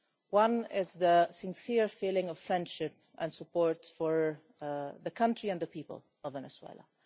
One is the sincere feeling of friendship and support for the country and the people of Venezuela.